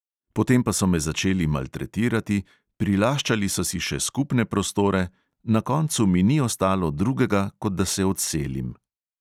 Potem pa so me začeli maltretirati, prilaščali so si skupne prostore, na koncu mi ni ostalo drugega, kot da se odselim.